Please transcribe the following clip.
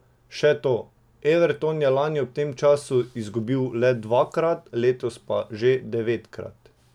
Še to, Everton je lani ob tem času izgubil le dvakrat, letos pa že devetkrat.